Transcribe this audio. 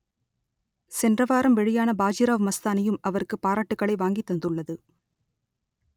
சென்ற வாரம் வெளியான பாஜிராவ் மஸ்தானியும் அவருக்கு பாராட்டுகளை வாங்கித் தந்துள்ளது